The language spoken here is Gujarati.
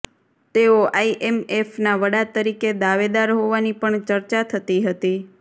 તેઓ આઇએમએફના વડા તરીકે દાવેદાર હોવાની પણ ચર્ચા થતી હતી